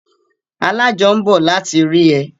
Alájọ ń bọ̀ láti rí ẹ